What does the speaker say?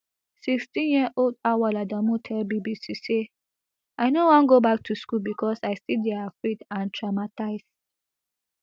sixteenyearold auwal adamu tell bbc say i no wan go back to school becos i still dey afraid and traumatised